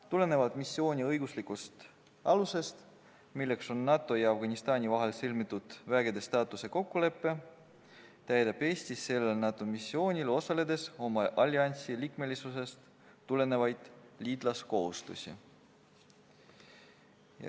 Tulenevalt missiooni õiguslikust alusest – NATO ja Afganistani vahel on sõlmitud vägede staatuse kokkulepe – täidab Eesti sellel missioonil osaledes oma alliansi liikmesusest tulenevaid liitlaskohustusi.